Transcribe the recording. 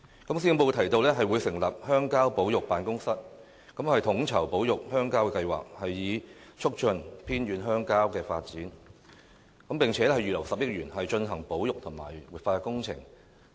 施政報告提到會成立鄉郊保育辦公室，統籌保育鄉郊的計劃，以促進偏遠鄉郊的發展，並且預留10億元，進行保育和活化工程。